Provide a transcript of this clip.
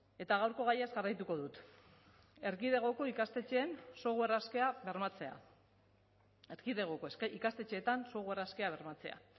eta gaurko gaiaz jarraituko dut erkidegoko ikastetxeetan software askea bermatzea